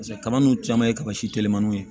Paseke kaba ninnu caman ye kaba si telimaniw